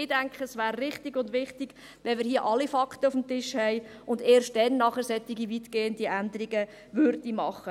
Ich denke, es wäre richtig und wichtig, erst dann solche weitgehenden Änderungen zu machen, wenn wir hier alle Fakten auf dem Tisch haben.